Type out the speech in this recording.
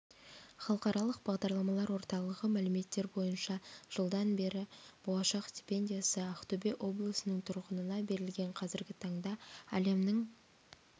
халықаралық бағдарламалар орталығы мәліметтері бойынша жылдан бері болашақ стипендиясы ақтөбе облысының тұрғынына берілген қазіргі таңда әлемнің